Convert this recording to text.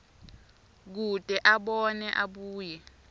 kute abone abuye